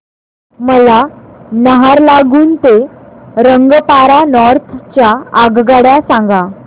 मला नाहरलागुन ते रंगपारा नॉर्थ च्या आगगाड्या सांगा